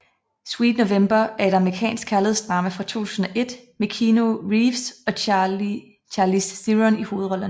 Sweet November er et amerikansk kærlighedsdrama fra 2001 med Keanu Reeves og Charlize Theron i hovedrollerne